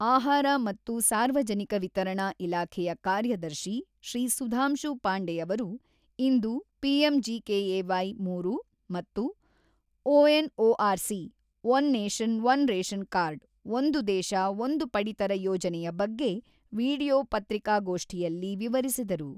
ಆಹಾರ ಮತ್ತು ಸಾರ್ವಜನಿಕ ವಿತರಣಾ ಇಲಾಖೆಯ ಕಾರ್ಯದರ್ಶಿ ಶ್ರೀ ಸುಧಾಂಶು ಪಾಂಡೆಯವರು ಇಂದು ಪಿಎಂಜಿಕೆಎವೈ ಮೂರು ಮತ್ತು ONOR C one nation one ration card ಒಂದು ದೇಶ ಒಂದು ಪಡಿತರ ಯೋಜನೆಯ ಬಗ್ಗೆ ವಿಡಿಯೋ ಪತ್ರಿಕಾಗೋಷ್ಠಿಯಲ್ಲಿ ವಿವರಿಸಿದರು.